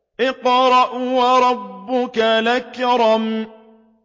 اقْرَأْ وَرَبُّكَ الْأَكْرَمُ